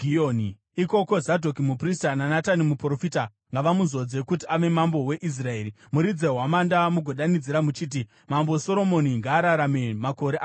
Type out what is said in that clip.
Ikoko, Zadhoki muprista naNatani muprofita ngavamuzodze kuti ave mambo weIsraeri. Muridze hwamanda mugodanidzira muchiti, ‘Mambo Soromoni ngaararame makore akawanda!’